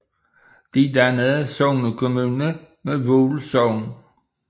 De dannede sognekommune med Voel Sogn